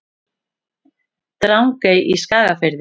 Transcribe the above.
Drangey í Skagafirði.